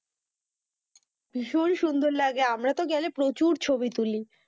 ভীষণ সুন্দর লাগে আমরা তো গেলে প্রচুর ছবি তুলি,